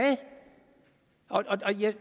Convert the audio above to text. og